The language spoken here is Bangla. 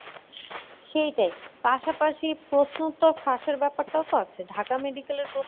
সেইটাই। পাশাপাশি প্রশ্ন উত্তর ফাঁসের ব্যাপারটাও তো আছে। ঢাকা medical এর